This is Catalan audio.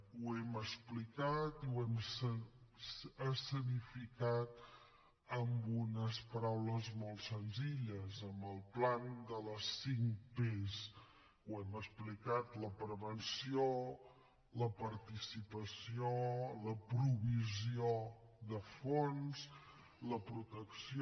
ho hem explicat i ho hem escenificat amb unes paraules molt senzilles amb el pla de les cinc pes ho hem explicat la prevenció la participació la provisió de fons la protecció